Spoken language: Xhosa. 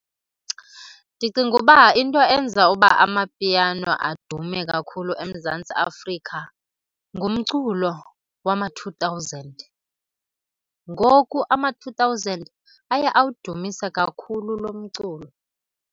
Ndicinga uba into enza uba amapiano adume kakhulu eMzantsi Afrika ngumculo wama-two thousand. Ngoku ama-two thousand aye awudumise kakhulu lo mculo.